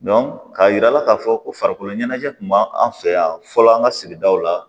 k'a yira k'a fɔ ko farikolo ɲɛnajɛ kun b'an fɛ yan fɔlɔ an ka sigidaw la